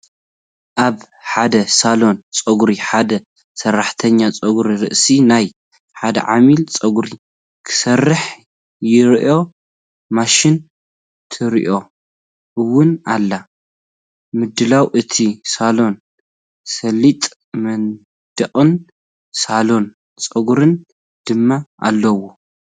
ኣብ ሓደ ሳሎን ጸጉሪ ሓደ ሰራሕተኛ ጸጉሪ ርእሲ ናይ ሓደ ዓሚል ጸጉሪ ክሰርሕ ይረአ። ማሽን ትረአ ውን ኣላ፣ ምድላው እቲ ሳሎን ስሉጥ መንደቕን ሳሎን ጸጉርን ድማ ኣለዎ።